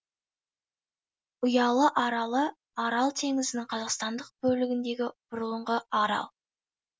ұялы аралы арал теңізінің қазақстандық бөлігіндегі бұрынғы арал